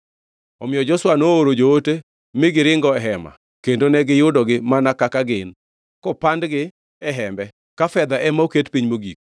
Omiyo Joshua nooro joote mi giringo e hema kendo ne giyudogi mana kaka gin, kopandgi e hembe, ka fedha ema oket piny mogik.